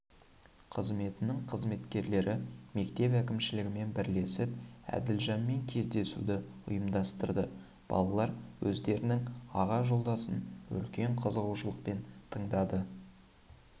қызметінің қызметкерлері мектеп әкімшілігімен бірлесіп әділжанмен кездесуді ұйымдастырды балалар өздерінің аға жолдасын үлкен қызығушылықпен тыңдады